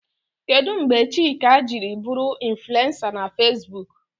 Kedụ mgbe Chika jiri bụrụ infulensa na Feesbuk?